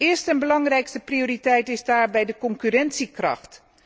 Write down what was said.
Eerste, belangrijkste prioriteit is daarbij de concurrentiekracht.